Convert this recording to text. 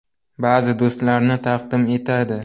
Ba’zi dasturlarni taqdim etadi.